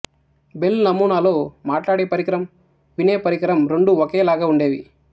bell నమూనాలో మాట్లాడే వరికరం వినే పరికరం రెండూ ఒకలాగే ఉండేవి